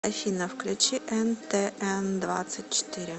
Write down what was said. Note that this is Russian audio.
афина включи эн тэ эн двадцать четыре